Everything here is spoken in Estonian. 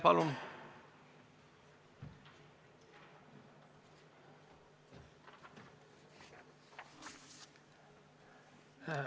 Palun!